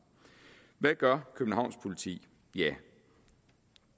hvad gør københavns politi